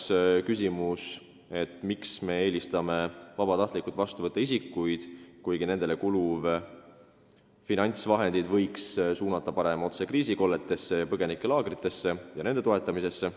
Kolmas küsimus: miks me eelistame vabatahtlikult isikuid vastu võtta, kuigi nendele kuluvad finantsvahendid võiks suunata otse kriisikolletesse ja põgenikelaagritesse, et inimesi seal toetada?